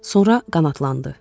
Sonra qanadlandı.